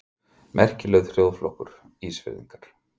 Merkilegur þjóðflokkur, Ísfirðingar!